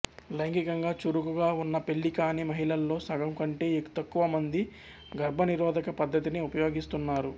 లైంగికంగా చురుకుగా ఉన్న పెళ్ళి కాని మహిళల్లో సగం కంటే తక్కువ మంది గర్భనిరోధక పద్ధతిని ఉపయోగిస్తున్నారు